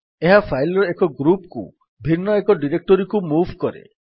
ଏହା ଫାଇଲ୍ ର ଏକ ଗ୍ରୁପ୍ କୁ ଭିନ୍ନ ଏକ ଡିରେକ୍ଟୋରୀକୁ ମୁଭ୍ କରେ